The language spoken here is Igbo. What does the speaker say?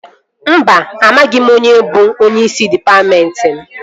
Mba, amaghị m onye bụ onyeisi dịpatmentị m